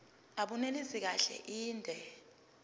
abunelisi kahle inde